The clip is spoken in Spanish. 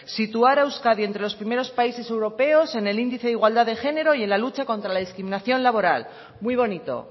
situar a euskadi entre los primeros países europeos en el índice de igualdad de género y en la lucha contra la discriminación laboral muy bonito